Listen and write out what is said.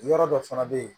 Yɔrɔ dɔ fana bɛ yen